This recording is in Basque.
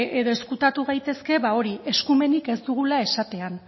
edo ezkutatu gaitezke ba hori eskumenik ez dugula esatean